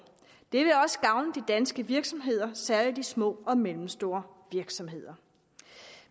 det vil også gavne de danske virksomheder særlig de små og mellemstore virksomheder